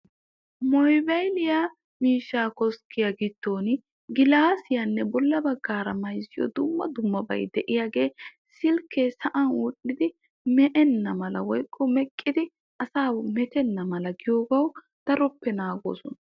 moobaylliya miishshaa koskkiya giddoni gilaasiyaanne bola bagaara mayzziyo dumma dummabay de'iyaagee silkee sa'an wodhidi me'enna mala woykko meqqidi asaa metenna mala giyoogawu daroppe naagoosona.